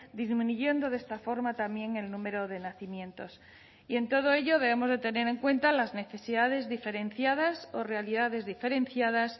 disminuyendo de esta forma también el número de nacimientos y en todo ello debemos de tener en cuenta las necesidades diferenciadas o realidades diferenciadas